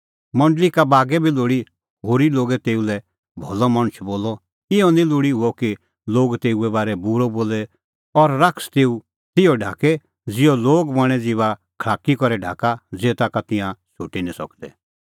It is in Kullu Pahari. मंडल़ी का बागै बी लोल़ी होरी लोगै तेऊ लै भलअ मणछ बोलअ इहअ निं लोल़ी हुअ कि लोग तेऊए बारै बूरअ बोले और शैतान तेऊ तिहअ ढाके ज़िहअ लोग बणें ज़ीबा खल़ाकी करै ढाका ज़ेता का तिंयां छ़ुटी निं सकदै